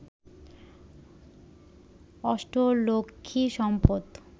অষ্টলক্ষ্মী সম্পদ